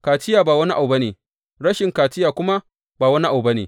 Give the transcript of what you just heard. Kaciya ba wani abu ba ne, rashin kaciya kuma ba wani abu ba ne.